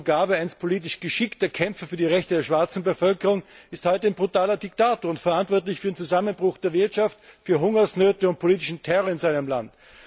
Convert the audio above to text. Robert Mugabe, einst politisch geschickter Kämpfer für die Rechte der schwarzen Bevölkerung, ist heute ein brutaler Diktator und verantwortlich für den Zusammenbruch der Wirtschaft, für Hungersnöte und politischen Terror in seinem Land.